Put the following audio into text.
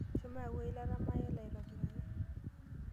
Shomo yau eilata maaela aitobiraki.